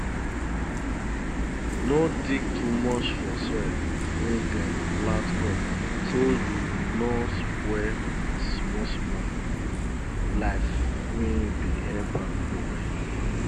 no dig too much for soil wey dem plant crop so you no spoil smallsmall life wey dey help am grow well